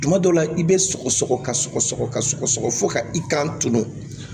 Tuma dɔw la i bɛ sɔgɔsɔgɔ ka sɔgɔsɔgɔ ka sɔgɔsɔgɔ fo ka i kan tulu